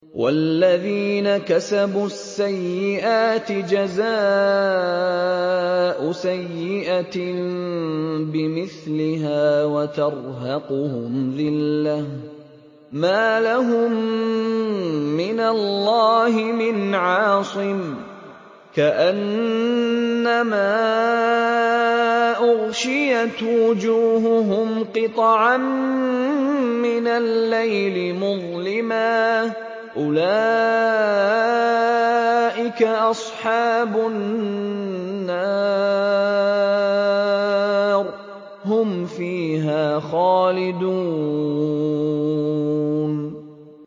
وَالَّذِينَ كَسَبُوا السَّيِّئَاتِ جَزَاءُ سَيِّئَةٍ بِمِثْلِهَا وَتَرْهَقُهُمْ ذِلَّةٌ ۖ مَّا لَهُم مِّنَ اللَّهِ مِنْ عَاصِمٍ ۖ كَأَنَّمَا أُغْشِيَتْ وُجُوهُهُمْ قِطَعًا مِّنَ اللَّيْلِ مُظْلِمًا ۚ أُولَٰئِكَ أَصْحَابُ النَّارِ ۖ هُمْ فِيهَا خَالِدُونَ